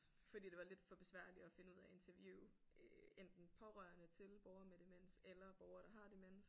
Fordi det var lidt for besværligt at finde ud af at interviewe øh enten pårørende til borgere med demens eller borgere der har demens